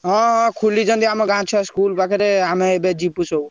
ହଁ ହଁ ଖୋଲିଛନ୍ତି ଆମ ଗାଁ ଛୁଆ ସ୍କୁଲ ପାଖରେ ଆମେ ଏବେ ଯିବୁ ସବୁ।